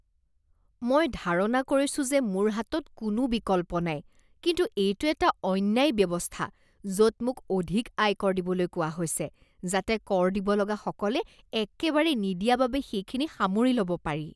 মই ধাৰণা কৰিছোঁ যে মোৰ হাতত কোনো বিকল্প নাই, কিন্তু এইটো এটা অন্যায় ব্যৱস্থা য'ত মোক অধিক আয়কৰ দিবলৈ কোৱা হৈছে যাতে কৰ দিব লগাসকলে একেবাৰেই নিদিয়া বাবে সেইখিনি সামৰি ল'ব পাৰি।